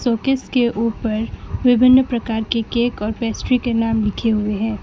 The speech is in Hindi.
शोकेस ऊपर विभिन्न प्रकार के केक और पेस्ट्री के नाम लिखे हुए हैं।